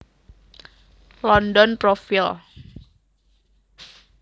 London Profile